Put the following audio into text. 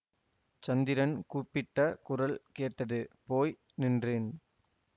சந்திரன் கூப்பிட்ட குரல் கேட்டது போய் நின்றேன்